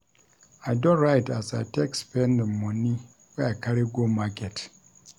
I don write as I take spend di moni wey I carry go market.